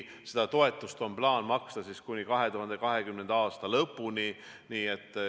Seda toetust on plaan maksta kuni 2020. aasta lõpuni.